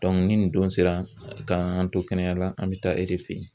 ni nin don sera k'an to kɛnɛya la an mɛ taa e de fɛ ye.